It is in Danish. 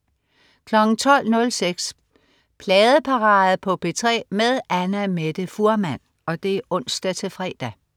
12.06 Pladeparade på P3 med Annamette Fuhrmann (ons-fre)